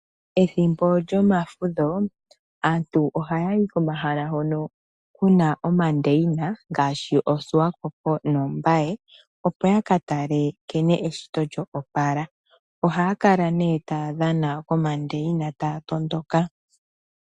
Ethimbo lyomafudho aantu ohaya yi komahala hono kuna omandeina ngaashi koSwakopo noMbaye opo yaka tale eshito nkene lyoopala. Ohaya kala nee taya dhana komandeina taya tondoka.